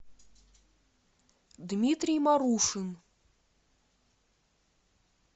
дмитрий марушин